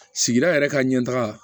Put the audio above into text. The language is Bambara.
Sigida yɛrɛ ka ɲɛ taga